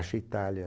Itália